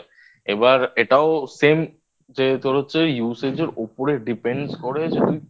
এবার এটাও Same যে তোর হচ্ছে Usage এর ওপরে Depends করে যদি